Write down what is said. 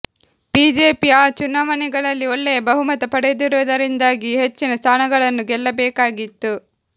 BJP ಆ ಚುನಾವಣೆಗಳಲ್ಲಿ ಒಳ್ಳೆಯ ಬಹುಮತ ಪಡೆದಿರುವುದರಿಂದಾಗಿ ಹೆಚ್ಚಿನ ಸ್ಥಾನಗಳನ್ನು ಗೆಲ್ಲಬೇಕಾಗಿತ್ತು